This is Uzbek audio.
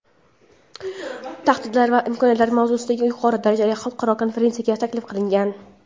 Tahdidlar va imkoniyatlar mavzusidagi yuqori darajali xalqaro konferensiyaga taklif qilgan.